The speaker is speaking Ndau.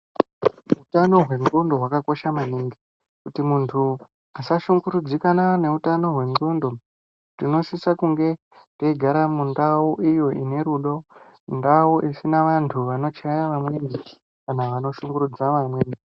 Utano hwen'gondo hwakakosha maningi, kuti muntu asashungurudzike angeutano hwen'godo, tinosise kunge teigara mundau iyo ine rudo, ndau isina vantu vano chaya vamweni kana vanoshungurudza vamweni.